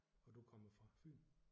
Og du kommer fra Fyn?